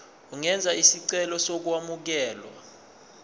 ungenza isicelo sokwamukelwa